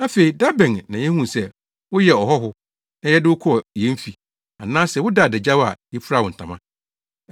Afei da bɛn na yehuu sɛ woyɛɛ ɔhɔho, a yɛde wo kɔɔ yɛn fi, anaasɛ wodaa adagyaw a, yefuraa wo ntama?